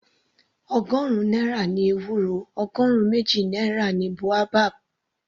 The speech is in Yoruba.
Ọgọrun náírà ni ewúro, ọgọrun méjì náírà ni boabab.